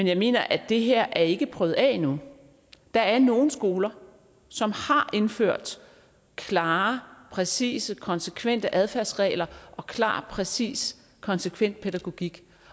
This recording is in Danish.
jeg mener er at det her ikke er prøvet af endnu der er nogle skoler som har indført klare præcise konsekvente adfærdsregler og klar præcis og konsekvent pædagogik